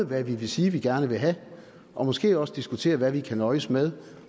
hvad vi vil sige vi gerne vil have og måske også diskutere hvad vi kan nøjes med